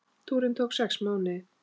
Túrinn tók sex mánuði.